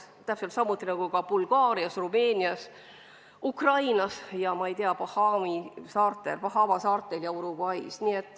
Täpselt samuti on ka Bulgaarias, Rumeenias, Ukrainas ja ma ei tea, Bahama saartel ja Uruguays.